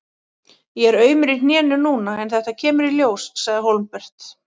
Ég er aumur í hnénu núna en þetta kemur í ljós, sagði Hólmbert.